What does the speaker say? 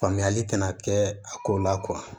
Faamuyali tɛna kɛ a ko la